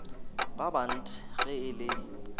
ba bant ge e le